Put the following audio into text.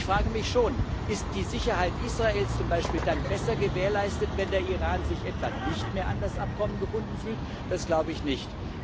Und ich frage mich schon Ist die Sicherheit Israels zum Beispiel dann besser gewährleistet, wenn der Iran sich etwa nicht mehr an das Abkommen gebunden fühlt? Das glaube ich nicht.